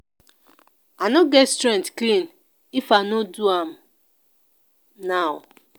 i no go get strength clean if i no do am now